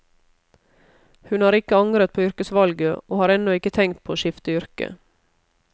Hun har ikke angret på yrkesvalget, og har ennå ikke tenkt på å skifte yrke.